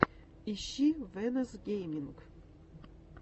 ищи вэнос гейминг